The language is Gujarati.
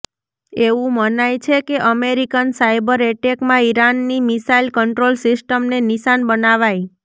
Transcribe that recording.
એવું મનાય છે કે અમેરિકન સાયબર એટેકમાં ઇરાનની મિસાઇલ કન્ટ્રોલ સિસ્ટમને નિશાન બનાવાઈ